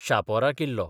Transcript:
शापोरा किल्लो